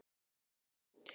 Kristján: Og hljópstu þá út?